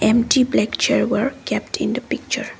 empty black chair were kept in the picture.